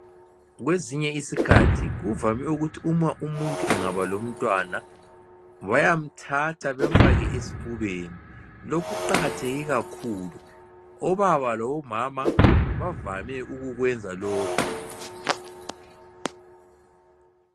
Kwesinye isikhathi kuvame ukuthi uma umuntu engaba lomntwana bayamthatha bemfake esifubeni lokhu kuqakatheke kakhulu obaba labomama bavame ukukwenza lokhu.